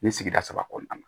Nin sigida saba kɔnɔna na